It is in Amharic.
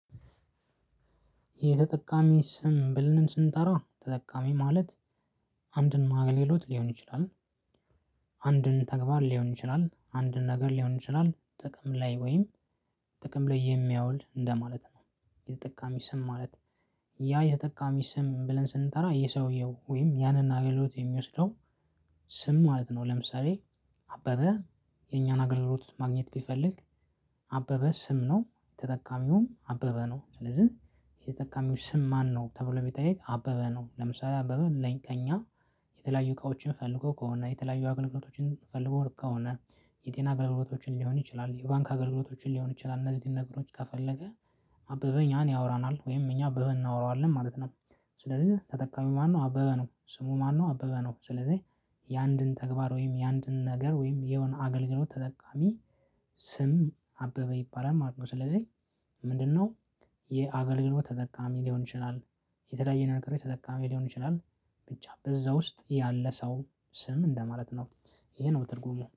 የተጠቃሚ ስም ብልንም ስንጠራ ተጠቃሚ ማለት፣ አንድም ማግሌሎት ሊሆን ይችላል አንድን ተግባር ሊሆን ይችላል፣ አንድን ነገር ሊሆን ይችላል፣ ጥቅም ላይ ወይም ጥቅም ላይ የሚያውል እንደማለት ነው። የተጠቃሚ ስም ማለት ያ የተጠቃሚ ስም ብለን ስንጠራ የሰውየው ወይም ያንን አይሎት የሚወስደው ስም ማለት ነው። ለምሳሌ አበበ የኛን አገልግሎት ማግኘት ቢፈልግ አበበ ስም ነው። ተጠቃሚውን አበበ ነው። ስለዚህ የተጠቃሚው ስም ማነው ተብሎ ቢጠይቅ አበበ ነው። ለምሳሌ አበበ ብለን ከእኛ የተለያዩ እቃዎችን ፈልጎ ከሆነ የተለያዩ አገልግሎቶችን ፈልጎ ከሆነ የጤና አገልግሎቶችን ሊሆን ይችላል፣ የባንክ አገልግሎቶችን ሊሆን ይችላል እነዚህን ነገሮች ከፈለገ እኛን ያወራናል ወይም እኛ አበበ እናወራዋለን ማለት ነው። ስለዚህ ተጠቃሚ ማን ነው? አበበ ነው ስሙ ማን ነው አበበ ነው። ስለዚህ የአንድን ተግባር ወይም የአንድን ነገር ወይም የሆነ አገልግሎት ተጠቃሚ ስም አበበ ይባላል ማለት ነው። ስለዚህ ምንድነው የአገልግሎት ተጠቃሚ ሊሆን ይችላል፣ የተለያየ ነገር ተጠቃሚ ሊሆን ይችላል፣ ብቻ በዛ ውስጥ ያለ ሰው ስም እንደማለት ነው። ይሄ ነው በትርጉሙ